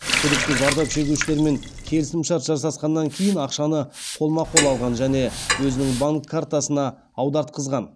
күдікті зардап шегушілермен келісімшарт жасасқаннан кейін ақшаны қолма қол алған және өзінің банк картасына аудартқызған